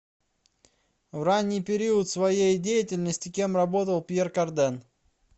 в ранний период своей деятельности кем работал пьер карден